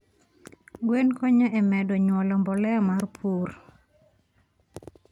Gwen konyo e medo nyuolo mbolea mar purr